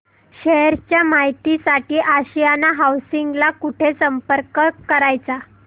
share च्या माहिती साठी आशियाना हाऊसिंग ला कुठे संपर्क करायचा